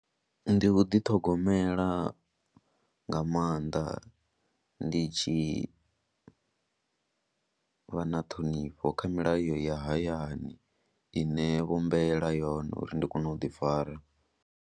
Ndi u ḓiṱhogomela nga maanḓa, ndi tshi vha na ṱhonifho kha milayo ya hayani ine vho mbeela yone uri ndi kone u ḓifara.